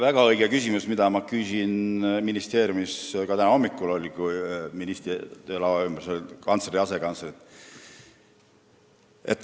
Väga õige küsimus, mille küsisin ka mina ministeeriumis täna hommikul, kui ministri laua ümber olid kantsler ja asekantslerid.